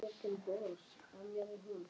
En samt var hún ekki ánægð.